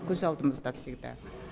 көз алдымызда всегда